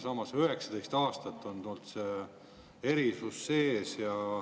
Samas, 19 aastat on olnud see erisus.